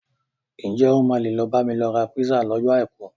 Ǹ jẹ́ o máa lè lọ bá mi ra písà lọ́jọ́ Àìkú?